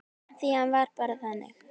Því hann var bara þannig.